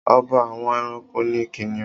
Ọba àwọn ẹranko ni kìnìún.